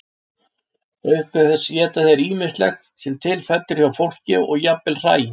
Auk þess éta þeir ýmislegt sem til fellur hjá fólki og jafnvel hræ.